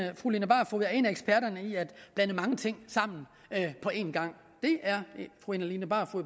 at fru line barfod er en af eksperterne i at blande mange ting sammen på en gang det er fru line barfod